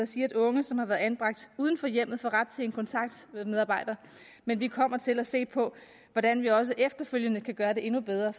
siger at unge som har været anbragt uden for hjemmet får ret til kontakt med en medarbejder men vi kommer til at se på hvordan vi også efterfølgende kan gøre det endnu bedre